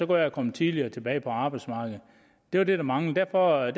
være kommet tidligere tilbage på arbejdsmarkedet det var det der manglede derfor er